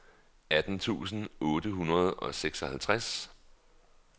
atten tusind otte hundrede og seksoghalvtreds